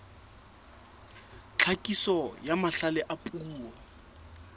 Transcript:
tlhakiso ya mahlale a puo